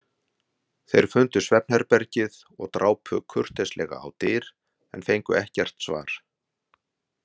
Þeir fundu svefnherbergið og drápu kurteislega á dyr en fengu ekkert svar.